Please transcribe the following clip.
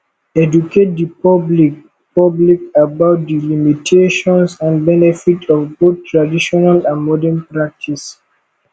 educate di public public about the limitations and benefits of both traditional and modern practice